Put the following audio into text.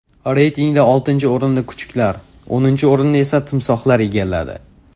Reytingda oltinchi o‘rinni kuchuklar, o‘ninchi o‘rinni esa timsohlar egalladi.